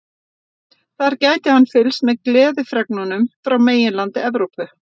Þar gæti hann fylgst með gleðifregnunum frá meginlandi Evrópu.